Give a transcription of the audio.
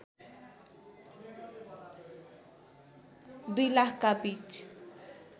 २००००० का बीच